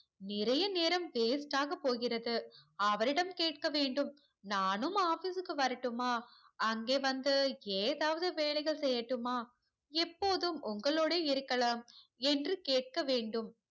நிறைய நேரம் waste ஆக போகிறது அவரிடம் கேட்க வேண்டும் நானும் office கு வரட்டுமா அங்கே வந்து ஏதாவது வேலைகள் செய்யட்டுமா எப்போதும் உங்களோடு இருக்கலாம் என்று கேட்க வேண்டும்